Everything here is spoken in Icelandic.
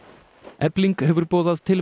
efling hefur boðað til